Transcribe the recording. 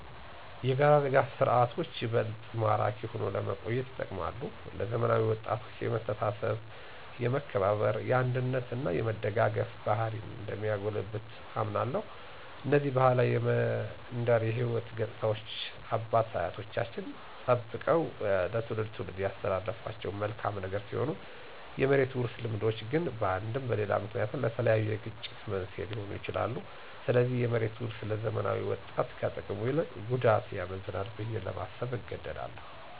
የጋራ ድጋፍ ስርዓቶች ይበልጥ ማራኪ ሆኖ ለመቆየት ይጠቅማል። ለዘመናዊ ወጣቶች የመተሳሰብ፣ የመከባበር፣ የአንድነት እና የመደጋገፍ ባህሪን እንደሚያጎለብት አምናለሁ። እነዚህ ባህላዊ የመንደር የሕይወት ገፅታዎች አባት አያቶቻችን ጠበቀው ከትውልድ ትውልድ ያስተላለፉት መልካም ነገር ሲሆን የመሬት ውርስ ልምዶች ግን በአንድም በሌላ ምክንያት ለተለያዩ የግጭት መንስኤ ሊሆኑ ይችላሉ። ስለዚህ የመሬት ውርስ ለዘመናዊ ወጣት ከጥቅሙ ይልቅ ጉዳቱ ያመዝናል ብዬ ለማሰብ እገደዳለሁ።